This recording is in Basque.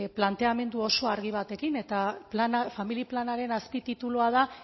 planteamendu oso argi batekin eta familia planaren azpi titulua da